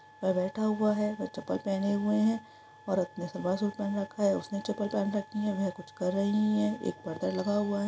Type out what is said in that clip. वह बैठा हुआ है वह चप्पल पहने हुए है औरत ने सवा सूट पहन रखा है उसने चप्पल पहन रखी है वह कुछ कर रही है एक पर्दा लगा हुआ है।